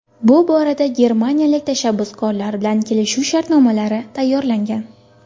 Bu borada germaniyalik tashabbuskorlar bilan kelishuv shartnomalari tayyorlangan.